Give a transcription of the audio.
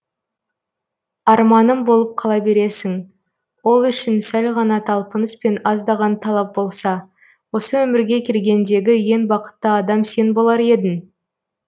арманым болып қала бересің ол үшін сәл ғана талпыныс пен аздаған талап болса осы өмірге келгендегі ең бақытты адам сен болар едің